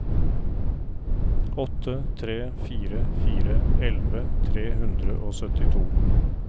åtte tre fire fire elleve tre hundre og syttito